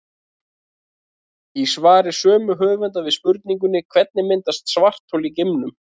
Í svari sömu höfunda við spurningunni Hvernig myndast svarthol í geimnum?